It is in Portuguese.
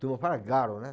Todo mundo fala galo, né?